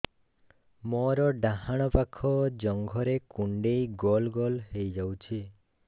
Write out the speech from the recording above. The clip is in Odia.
ମୋର ଡାହାଣ ପାଖ ଜଙ୍ଘରେ କୁଣ୍ଡେଇ ଗୋଲ ଗୋଲ ହେଇଯାଉଛି